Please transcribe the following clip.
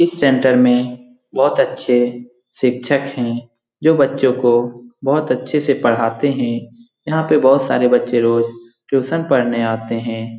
इस सेंटर में बहुत अच्छे शिक्षक है जो बच्चों को बहुत अच्छे से पढ़ाते हैं यहाँ पे बहुत सारे बच्चे रोज़ ट्यूशन पढ़ने आते हैं ।